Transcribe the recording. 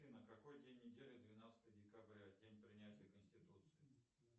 афина какой день недели двенадцатое декабря день принятия конституции